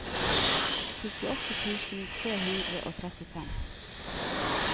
syttiåtte tusen tre hundre og trettifem